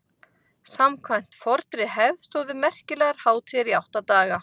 samkvæmt fornri hefð stóðu merkilegar hátíðir í átta daga